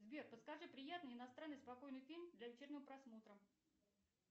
сбер подскажи приятный иностранный спокойный фильм для вечернего просмотра